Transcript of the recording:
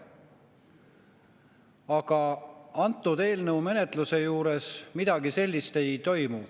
Aga selle eelnõu menetluse juures midagi sellist ei toimu.